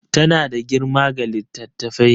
Tana da girma ga littattafai